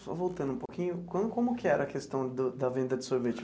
Só voltando um pouquinho, como como que era a questão do da venda de sorvete?